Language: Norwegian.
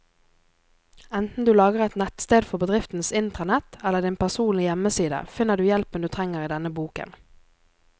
Enten du lager et nettsted for bedriftens intranett eller din personlige hjemmeside, finner du hjelpen du trenger i denne boken.